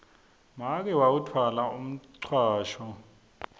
make wawutfwala umcwasho